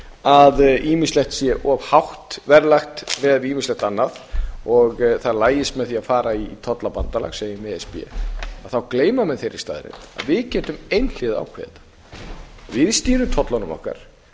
að ýmislegt sé of hátt verðlag miðað við ýmislegt annað og það lagist með því að fara í tollabandalag segjum e s b þá gleyma menn þeirri staðreynd að við getum einhliða ákveðið þetta við stýrum tollunum okkar